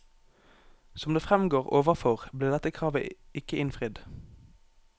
Som det fremgår overfor, ble dette kravet ikke innfridd.